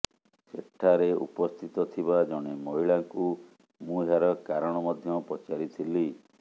ସେଠାରେ ଉପସ୍ଥିତ ଥିବା ଜଣେ ମହିଳାଙ୍କୁ ମୁଁ ଏହାର କାରଣ ମଧ୍ୟ ପଚାରିଥିଲି